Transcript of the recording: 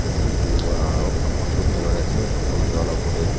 thik etu pator bi pator jula la oper te.